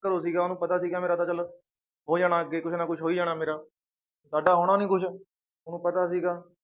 ਘਰੋਂ ਸੀਗਾ ਉਹਨੂੰ ਪਤਾ ਸੀਗਾ ਮੇਰਾ ਤਾਂ ਚੱਲ ਹੋ ਜਾਣਾ ਅੱਗੇ ਕੁਛ ਨਾ ਕੁਛ ਹੋ ਹੀ ਜਾਣਾ ਮੇਰਾ, ਸਾਡਾ ਹੋਣਾ ਨੀ ਕੁਛ ਉਹਨੂੰ ਪਤਾ ਸੀਗਾ।